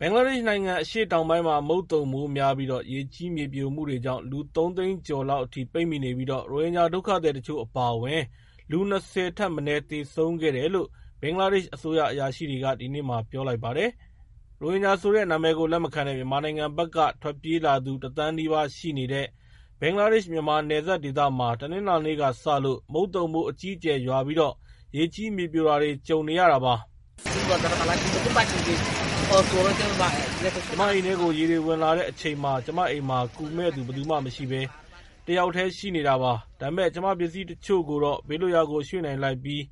ဘင်္ဂလားဒေ့ရှ်နိုင်ငံ အရှေ့တောင်ပိုင်းမှာ မုန်သုန်မိုးများပြီး ရေကြီးမြေပြိုမှုတွေကြောင့် လူ ၃ သိန်းကျော်လောက် ပိတ်မိနေပြီး ရိုဟင်ဂျာ ဒုက္ခသည်တချို့အပါအဝင် လူ ၂၀ ထက်မနည်း သေဆုံးခဲ့တယ်လို့ ဘင်္ဂလားဒေ့ရှ် အစိုးရအရာရှိတွေက ဒီကနေ့ ပြောပါတယ်။ ရိုဟင်ဂျာဆိုတဲ့ နာမည်ကို လက်မခံတဲ့ မြန်မာနိုင်ငံဘက်က ထွက်ပြေးလာသူ ၁ သန်းနီးပါးရှိနေတဲ့ ဘင်္ဂလားဒေ့ရှ်-မြန်မာ နယ်စပ်ဒေသမှာ တနင်္လာနေ့ကစလို့ မုတ်သုန်မိုး အကြီးအကျယ်ရွာပြီး ရေကြီး မြေပြိုတာတွေ ကြုံနေရတာပါ။ "ကျမအိမ်ထဲကို ရေတွေဝင်လာတဲ့အချိန်မှာ ကျမအိမ်မှာ ကူမယ့်သူ ဘယ်သူမရှိဘဲ ကျမတယောက်တည်းရှိနေတာပါ။ ဒါပေမဲ့ ကျမပစ္စည်းတချို့ကိုတော့ ဘေးလွတ်ရာကိုရွှေ့နိုင်လိုက်ပြီး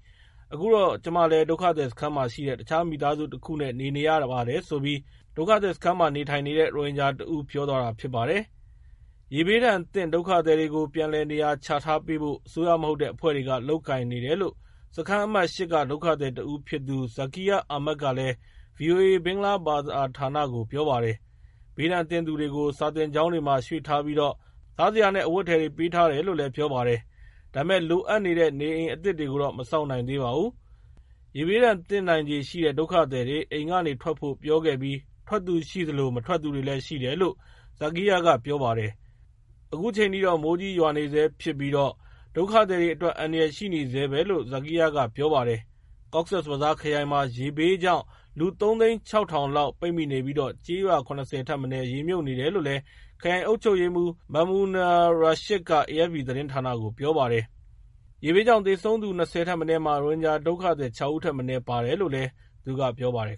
တော့ အခုတော့ ကျမလည်း ဒုက္ခသည်စခန်းမှာရှိတဲ့ တခြားမိသားစုတခုနဲ့ နေပါတယ်" လို့ ဒုက္ခသည်စခန်းမှာနေထိုင်နေတဲ့ ရိုဟင်ဂျာတဦးကပြောပါတယ်။ ရေဘေးဒဏ်သင့် ဒုက္ခသည်တွေကို ပြန်လည်နေရာချထားပေးဖို့ အစိုးရမဟုတ်တဲ့အဖွဲ့တွေက လုပ်ကိုင်နေတယ်လို့ စခန်းအမှတ် ၈ က ဒုက္ခသည်တဦးဖြစ်သူ Zakir Ahmed က ဗွီအိုအေ ဘင်္ဂလားဘာသာဌာနကို ပြောပါတယ်။ ဘေးဒဏ်သင့်သူတွေကို စာသင်ကျောင်းတွေမှာ ရွှေ့ထားပြီးတော့ စားစရာနဲ့ အဝတ်အထည်တွေ ပေးထားတယ်လို့လည်းပြောပါတယ်။ ဒါပေမယ့် လိုအပ်တဲ့ နေအိမ်အသစ်တွေကိုတော့ မဆောက်နိုင်သေးပါဘူး။ ရေဘေးဒဏ်သင့်နိုင်ခြေရှိတဲ့ ဒုက္ခသည်တွေ အိမ်ကထွက်ဖို့ ပြောခဲ့ပြီး ထွက်သူရှိသလို မထွက်သူတွေလည်းရှိတယ်လို့ Zakir ကပြောပါတယ်။ ခုချိန်ထိ မိုးကြီးရွာနေဆဲဖြစ်ပြီး ဒုက္ခသည်တွေအတွက် အန္တရာယ်ရှိနေဆဲပဲလို့လည်း Zakir ကပြောပါတယ်။ Cox's Bazar ခရိုင်မှာ ရေဘေးကြောင့် လူ ၃ သိန်း ၆ ထောင်လောက် ပိတ်မိနေပြီး ကျေးရွာ ၇၀ ထက်မနည်း ရေမြှုပ်နေတယ်လို့ ခရိုင်အုပ်ချုပ်ရေးမှူး Mamunur Rashid က AFP သတင်းဌာနကို ပြောပါတယ်။ ရေဘေးကြောင့် သေဆုံးသူ ၂၀ ထက်မနည်းမှာ ရိုဟင်ဂျာဒုက္ခသည် ၆ ဦးထက်မနည်း ပါတယ်လို့လည်း သူက ပြောပါတယ်